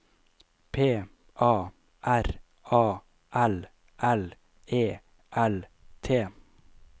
P A R A L L E L T